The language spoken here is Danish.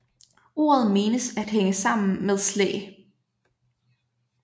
Ordet menes at hænge sammen med Slæ